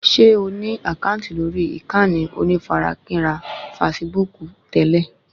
Ṣé o ní àkáǹtì lórí ìkànnì onífarakínra fasibúùkù tẹ́lẹ̀?